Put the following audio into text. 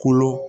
Kolo